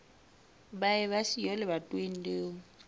ba eba siyo lebatoweng leo